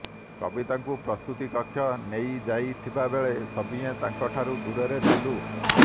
କବିତାଙ୍କୁ ପ୍ରସୁତି କକ୍ଷକୁ ନେଇଯାଇଥିବାବେଳେ ସଭିଏଁ ତାଙ୍କଠାରୁ ଦୂରରେ ଥିଲୁ